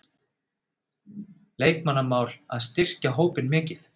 Leikmannamál, á að styrkja hópinn mikið?